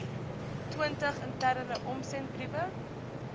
twintig interne omsendbriewe